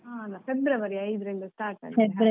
ಆ ಅಲ್ಲ ಫೆಬ್ರವರಿ ಐದ್ರಿಂದ start ಆಗಿದೆ.